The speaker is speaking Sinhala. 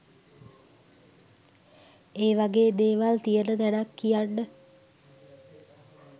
ඒ වගේ දේවල් තියෙන තැනක් කියන්න